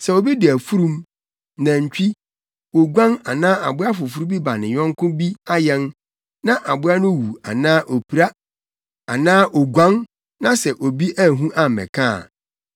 “Sɛ obi de afurum, nantwi, oguan anaa aboa foforo bi ma ne yɔnko bi ayɛn na aboa no wu anaa opira anaa oguan na sɛ obi anhu ammɛka a,